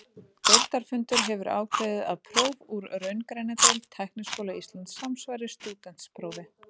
Deildarfundur hefur ákveðið, að próf úr raungreinadeild Tækniskóla Íslands samsvari stúdentsprófi.